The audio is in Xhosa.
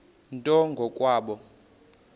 nto ngo kwabo